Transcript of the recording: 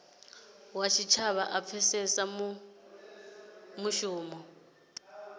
wa tshitshavha a pfesese mushumo